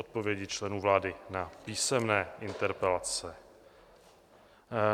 Odpovědi členů vlády na písemné interpelace